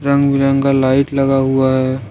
रंगबिरंगा light लगा हुआ है।